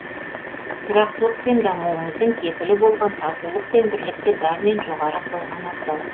тұрақтылық пен дамуымыздың кепілі болған татулық пен бірлікті бәрінен жоғары қойған абзал